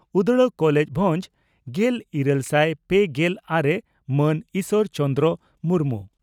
ᱩᱫᱽᱲᱟ college ᱵᱷᱚᱸᱡᱽ ᱾ᱜᱮᱞ ᱤᱨᱟᱹᱞ ᱥᱟᱭ ᱯᱮᱜᱮᱞ ᱟᱨᱮ ᱹ ᱢᱟᱱ ᱤᱥᱚᱨ ᱪᱚᱱᱫᱽᱨᱚ ᱢᱩᱨᱢᱩ